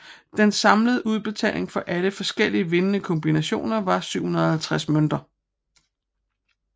Den samlede udbetaling for alle forskellige vindende kombinationer var 750 mønter